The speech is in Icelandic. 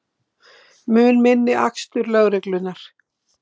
Mun minni akstur lögreglunnar